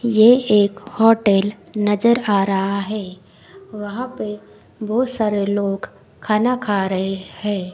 ये एक होटेल नजर आ रहा है वहां पे बहोत सारे लोग खाना खा रहे है।